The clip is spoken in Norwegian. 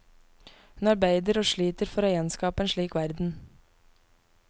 Hun arbeider og sliter for å gjenskap en slik verden.